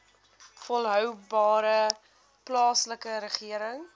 volhoubare plaaslike regering